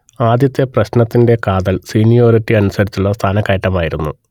ആദ്യത്തെ പ്രശ്നത്തിന്റെ കാതൽ സീനിയോരിറ്റി അനുസരിച്ചുള്ള സ്ഥാനക്കയറ്റമായിരുന്നു